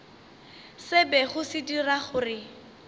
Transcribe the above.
se bego se dira gore